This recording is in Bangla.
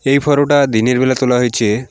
এই ফটোটা দিনের বেলা তোলা হয়েছে।